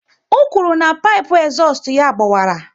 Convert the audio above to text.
Ọ kwụrụ na pipu ezustu ya a gbawara